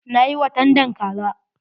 Na yi watandan kaza.